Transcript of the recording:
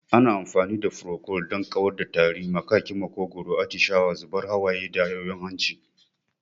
Ana amfani da furokol don kawar da tari, maƙaƙin maƙogwaro, atishawa, zubar hawaye da yoyon hanci.